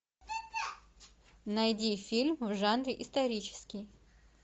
найди фильм в жанре исторический